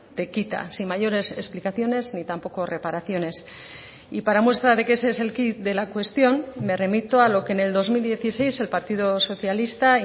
te quita sin mayores explicaciones ni tampoco reparaciones y para muestra de que ese es el quid de la cuestión me remito a lo que en el dos mil dieciséis el partido socialista